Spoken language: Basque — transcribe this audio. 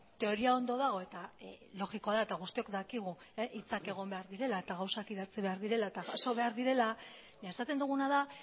teoria ondo dago eta logikoa da eta guztiok dakigu hitzak egon behar direla eta gauzak idatzi behar direla eta jaso behar direla baina esaten duguna da